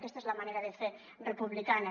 aquesta és la manera de fer republicana